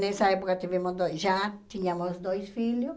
Nessa época tivemos dois já tínhamos dois filhos.